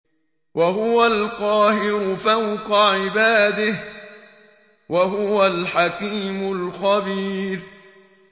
وَهُوَ الْقَاهِرُ فَوْقَ عِبَادِهِ ۚ وَهُوَ الْحَكِيمُ الْخَبِيرُ